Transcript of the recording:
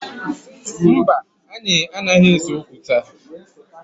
Mba, anyị anaghị ese okwu taa